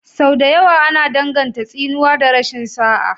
Sau da yawa ana danganta tsinuwa da rashin sa'a.